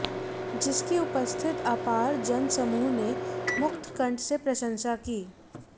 जिसकी उपस्थित अपार जन समूह ने मुक्तकंठ से प्रशंसा की